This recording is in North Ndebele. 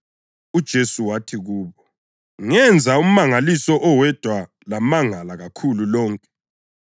UJesu wathi kubo, “Ngenza umangaliso owodwa lamangala kakhulu lonke.